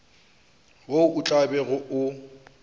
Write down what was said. wo o tla bego o